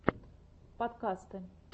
подкасты